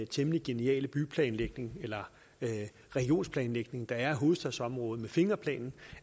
temmelig geniale byplanlægning eller regionsplanlægning der er i hovedstadsområdet med fingerplanen